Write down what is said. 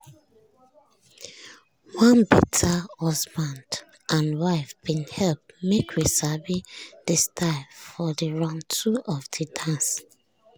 one better husband and wife bin help make we sabi de style for de round two of de dance.